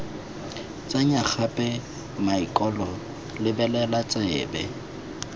tsenya gape maokelo lebelela tsebe